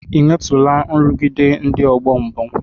Ò nwetụlarị nrụgide ndị ọgbọ mbụ?